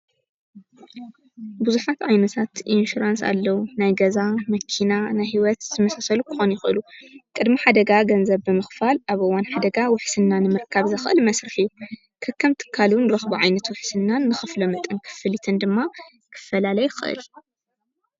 ብዙሓት ዓይነታት ኢንሽራንስ ኣለዉ። ናይ ገዛ፣ መኪና፣ ናይ ሕይወት ዝመሳሰሉ ክኾኑ ይኽእሉ። ቕድሚ ሓደጋ ገንዘብ ብምኽፋል ኣብ እዋን ሓደጋ ውሕስና ንምርካብ ዝኽእል መስርሕ እዩ። ከከም ትካሉ ንረኽቡ ዓይነት ውሕስናን ንከፍሎ መጠን ክፍልትን ድማ ክፈላለይ ይኽእል።